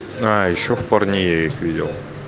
а ещё в парне я их видел